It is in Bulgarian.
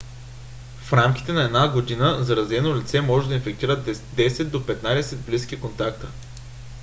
в рамките на една година заразено лице може да инфектира 10 до 15 близки контакта